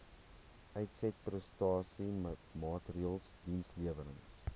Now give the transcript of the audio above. uitsetprestasie maatreëls dienslewerings